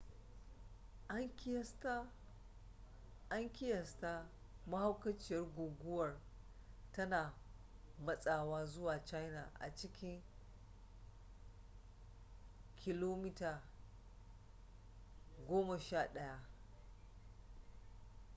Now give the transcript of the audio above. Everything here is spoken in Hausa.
an kiyasta mahaukaciyar guguwar tana matsawa zuwa china a cikin kph goma sha ɗaya